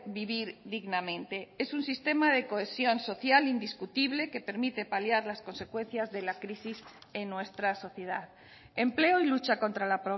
vivir dignamente es un sistema de cohesión social indiscutible que permite paliar las consecuencias de la crisis en nuestra sociedad empleo y lucha contra la